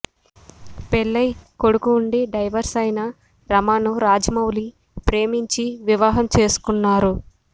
పెళ్లై కొడుకు ఉండి డైవర్స్ అయిన రమను రాజమౌళి ప్రేమించి వివాహం చేసుకున్నారు